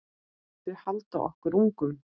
Þau halda okkur ungum.